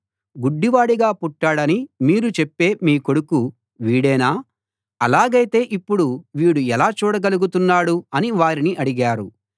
గుడ్డివాడుగా పుట్టాడని మీరు చెప్పే మీ కొడుకు వీడేనా అలాగైతే ఇప్పుడు వీడు ఎలా చూడగలుగుతున్నాడు అని వారిని అడిగారు